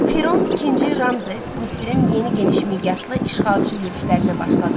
Firon ikinci Ramzes Misirin yeni genişmiqyaslı işğalçı yürüşlərinə başladı.